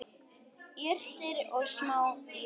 Jurtir og smádýr.